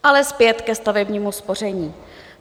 Ale zpět ke stavebnímu spoření.